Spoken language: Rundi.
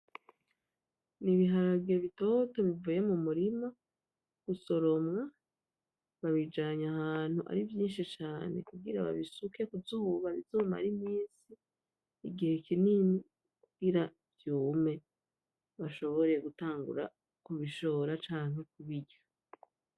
N'ibiharage bitoto bivuye mumurima gusoromwa babijanye ahantu ari vyishi cane kugira babisuke kuzuba bizomare iminsi igihe kinini kugira vyume bashobore gutangura kubishora canke kubirya.